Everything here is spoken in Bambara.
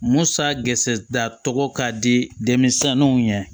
Musa geresɛ tɔgɔ ka di denmisɛnninw ye